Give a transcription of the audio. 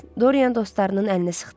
Doryan dostlarının əlini sıxdı.